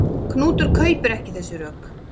Knútur kaupir ekki þessi rök.